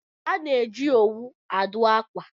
A na-eji owu adụ akwa